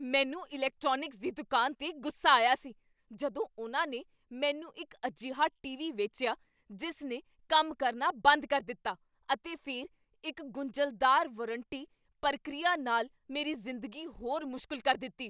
ਮੈਨੂੰ ਇਲੈਕਟ੍ਰੌਨਿਕਸ ਦੀ ਦੁਕਾਨ ਤੇ ਗੁੱਸਾ ਆਇਆ ਸੀ ਜਦੋਂ ਉਨ੍ਹਾਂ ਨੇ ਮੈਨੂੰ ਇੱਕ ਅਜਿਹਾ ਟੀਵੀ ਵੇਚਿਆ ਜਿਸ ਨੇ ਕੰਮ ਕਰਨਾ ਬੰਦ ਕਰ ਦਿੱਤਾ ਅਤੇ ਫਿਰ ਇੱਕ ਗੁੰਝਲਦਾਰ ਵਾਰੰਟੀ ਪ੍ਰਕਿਰਿਆ ਨਾਲ ਮੇਰੀ ਜ਼ਿੰਦਗੀ ਹੋਰ ਮੁਸ਼ਕਲ ਕਰ ਦਿੱਤੀ।